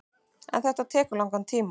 En tekur þetta langan tíma.